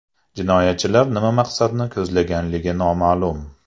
Jinoyatchilar nima maqsadni ko‘zlaganligi noma’lum.